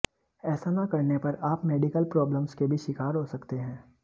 ऐसा न करने पर आप मेडिकल प्रॉब्लम्स के भी शिकार हो सकते हैं